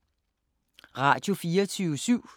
Radio24syv